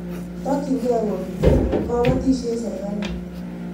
Takchinkei ko kimit kapatisyet sirikalit.